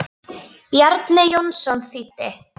Bjarni Jónsson þýddi.